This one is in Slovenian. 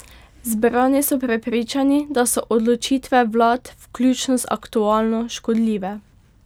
Zbrani so prepričani, da so odločitve vlad, vključno z aktualno, škodljive.